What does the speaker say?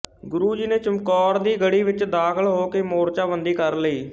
ਗੁਰੂ ਜੀ ਨੇ ਚਮਕੌਰ ਦੀ ਗੜ੍ਹੀ ਵਿੱਚ ਦਾਖ਼ਲ ਹੋ ਕੇ ਮੋਰਚਾ ਬੰਦੀ ਕਰ ਲਈ